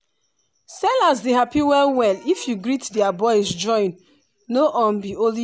i dey hear people dey greet for different language e dey make market feel like one big family.